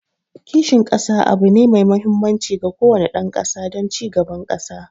Kishin kasa abu ne mai mahimmanci ga kowane dan kasa don ci gaban kasa